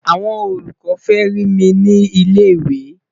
àwọn olùkọ fẹ rí mí ní ilẹ ìwé